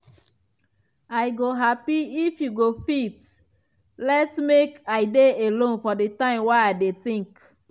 i go happy if you go fit let me make i dey alone for di time wey i dey think.